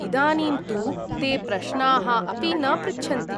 इदानीं तु ते प्रश्नाः अपि न पृच्छन्ति।